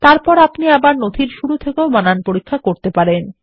তারপর আপনি ডকুমেন্টের শুরু থেকেও বানান পরীক্ষা করতে পারেন